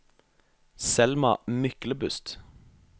Selma Myklebust